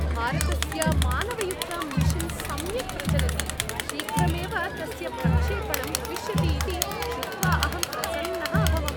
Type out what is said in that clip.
भारतस्य मानवयुक्तमिशन् सम्यक् प्रचलति, शीघ्रमेव तस्य प्रक्षेपणम् भविष्यति इति श्रुत्वा अहं प्रसन्नः अभवम्।